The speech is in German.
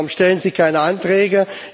Sie sagen Warum stellen Sie keine Anträge?